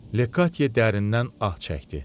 Lekatye dərindən ah çəkdi.